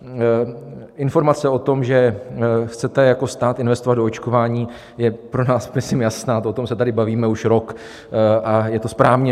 Informace o tom, že chcete jako stát investovat do očkování, je pro nás myslím jasná, o tom se tady bavíme už rok a je to správně.